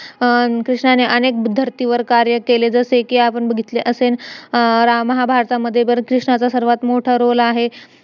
अं कृष्णाने अनेक धर्तीवर कार्य केले जसे कि आपण बघितले असेन महाभारतामध्ये कृष्णाचा सर्वात मोठा role आहे